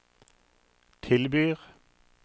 tilbyr